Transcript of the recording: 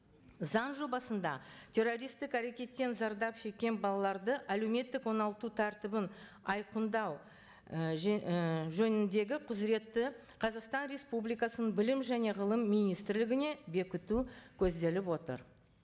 заң жобасында террористтік әрекеттен зардап шеккен балаларды әлеуметтік оңалту тәртібін айқындау і і жөніндегі құзыретті қазақстан республикасының білім және ғылым министрлігіне бекіту көзделіп отыр